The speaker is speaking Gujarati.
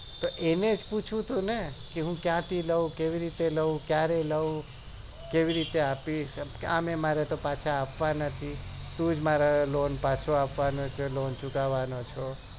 એનું જ પૂછવું હતું ને તો એનું જ પૂછવું હતું ને તો હું ક્યાં થી લઉં કેવી રીતે લઉં ક્યારે લઉં કેવીં રીતે અપીસ આમે મારે તો પાછો આપવા નથી તું જ મારો lone પાછો આપવાનો છે lone ચૂકવાનો છે